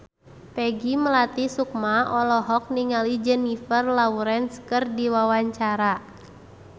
Peggy Melati Sukma olohok ningali Jennifer Lawrence keur diwawancara